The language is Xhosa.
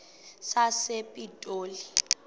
sasepitoli